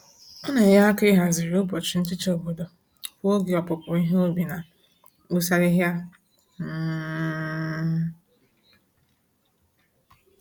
Ọ na-enye aka aka ịhazigharị ụbọchị nhicha obodo kwa oge opupu ihe ubi na mgbụsị ahịhịa. um